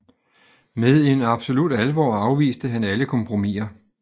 Med en absolut alvor afviste han alle kompromiser